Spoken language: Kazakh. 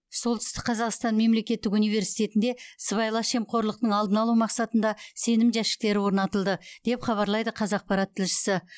солтүстік қазақстан мемлекеттік университетінде сыбайлас жемқорлықтың алдын алу мақсатында сенім жәшіктері орнатылды деп хабарлайды қазақпарат тілшісі